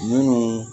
Minnu